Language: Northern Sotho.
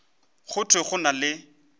go thwe go na le